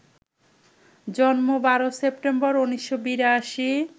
জন্ম ১২ সেপ্টেম্বর, ১৯৮২